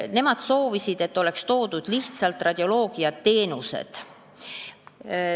Perearstid soovisid, et ära oleks mainitud lihtsalt radioloogiateenused.